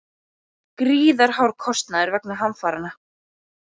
Gríðarhár kostnaður vegna hamfaranna